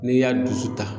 N'i y'a dusu ta